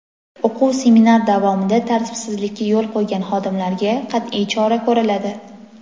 O‘quv-seminar davomida tartirbsizlikka yo‘l qo‘ygan xodimlarga qat’iy chora ko‘riladi.